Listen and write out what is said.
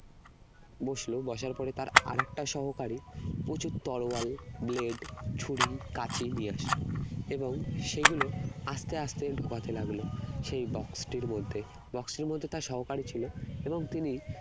বসলো, বসার পরে তার আর একটা সহকারী উঁচু তরোয়াল, blade ছুরি, কাঁচি নিয়ে আসলো এবং সেগুলো আস্তে আস্তে ঢুকাতে লাগলো সেই box টির মধ্যে box টির মধ্যে তার সহকারী ছিল এবং তিনি